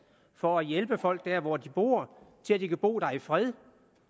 for at hjælpe folk der hvor de bor så de kan bo der i fred